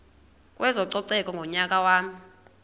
kwezococeko ngonyaka wama